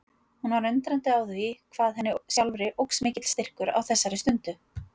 Hún var undrandi á því hvað henni sjálfri óx mikill styrkur á þessari stundu.